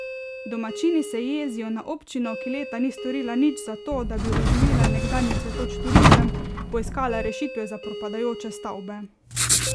Domačini se jezijo na občino, ki leta ni storila nič zato, da bi oživila nekdanji cvetoč turizem, poiskala rešitve za propadajoče stavbe.